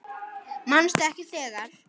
Manstu ekki þegar